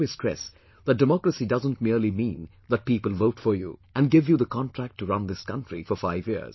I always stress that Democracy doesn't merely mean that people vote for you and give you the contract to run this country for five years